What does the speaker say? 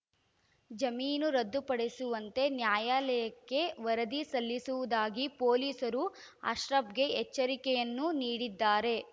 ಜಮೀನು ರದ್ದುಪಡಿಸುವಂತೆ ನ್ಯಾಯಾಲಯಕ್ಕೆ ವರದಿ ಸಲ್ಲಿಸುವುದಾಗಿ ಪೊಲೀಸರು ಅಶ್ರಫ್‌ಗೆ ಎಚ್ಚರಿಕೆಯನ್ನೂ ನೀಡಿದ್ದಾರೆ